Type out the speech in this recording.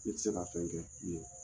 Ni tɛ se ka fɛn kɛ n ɲe